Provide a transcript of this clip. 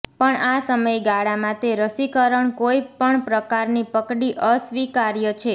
પણ આ સમયગાળામાં તે રસીકરણ કોઇ પણ પ્રકારની પકડી અસ્વીકાર્ય છે